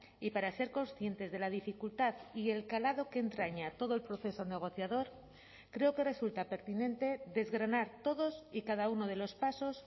y para ser conscientes de la dificultad y el calado que entraña todo el proceso negociador creo que resulta pertinente desgranar todos y cada uno de los pasos